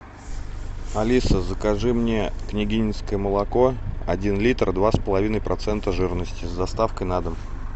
алиса закажи мне княгининское молоко один литр два с половиной процента жирности с доставкой на дом